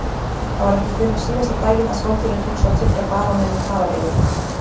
Það var ekki fyrr en síðasta daginn að skáldinu tókst að tryggja baróninum farareyri.